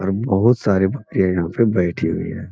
और बहुत सारे भेड़ यहाँ पे बैठे हुए हैं।